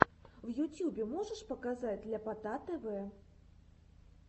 в ютюбе можешь показать ляпота тв